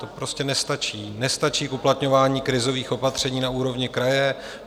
To prostě nestačí, nestačí k uplatňování krizových opatření na úrovni kraje.